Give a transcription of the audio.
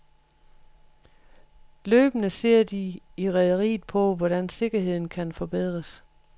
Løbende ser de i rederiet på, hvordan sikkerheden kan forbedres.